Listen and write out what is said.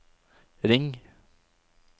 ring